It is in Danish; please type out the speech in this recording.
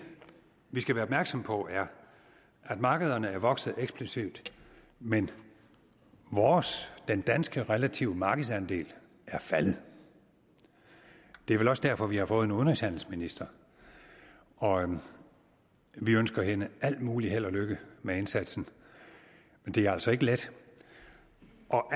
vi skal være opmærksomme på er at markederne er vokset eksplosivt men vores den danske relative markedsandel er faldet det er vel også derfor vi har fået en udenrigshandelsminister og vi ønsker hende al mulig held og lykke med indsatsen men det er altså ikke let